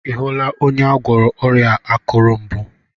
Ị hụla onye agwọrọ ọrịa akuru mbụ?